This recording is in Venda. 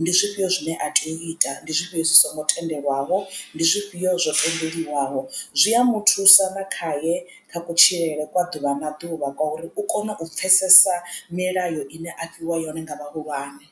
ndi zwifhio zwine a tea u ita ndi zwifhio zwi songo tendelwaho ndi zwifhiyo zwo tendelwaho zwi a muthusa na khaye kha kutshilele kwa ḓuvha na ḓuvha kwa uri u kone u pfesesa milayo ine a fhiwa yone nga vhahulwane.